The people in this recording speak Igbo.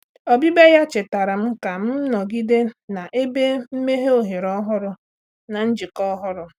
Ọbịbịa ya chetaara m ka m nọgide na ebe emeghe ohere ọhụrụ na njikọ ọhụrụ.